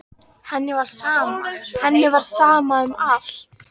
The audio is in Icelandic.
Henni var sama, henni var sama um allt.